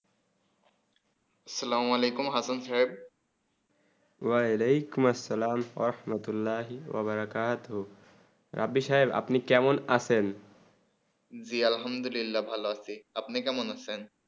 আপনি সাহেব আপনি কেমন আছন জী ভালো আছি আপনি কেমন আছেন